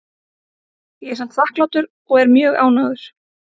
Ég er samt þakklátur og er mjög ánægður.